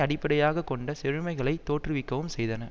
அடிப்படையாக கொண்ட செழுமைகளை தோற்றுவிக்கவும் செய்தன